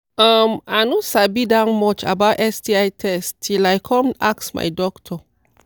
um i no sabi that much about sti test till i come ask my doctor